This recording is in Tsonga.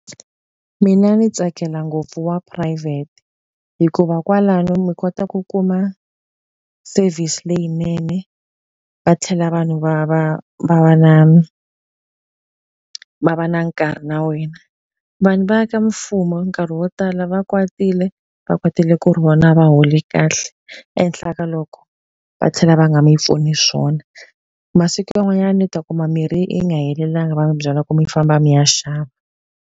Mina ndzi tsakela ngopfu wa phurayivhete. Hikuva kwalano mi kota ku kuma service leyinene, va tlhela vanhu va va va va na va va na nkarhi na wena. Vanhu va ka mfumo nkarhi yo tala, va va kwatile, va kwatele ku ri vona a va holi kahle. Ehenhla ka loko va tlhela va nga mi pfuni swona. Masiku man'wanyana mi ta kuma mirhi yi nga helelangi va mi byalwa ku mi famba mi ya xava.